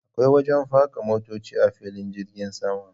Akwai wajen faka motoci a filin jirgin sama.